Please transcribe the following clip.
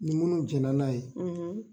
Ni munu jɛn na n'a ye.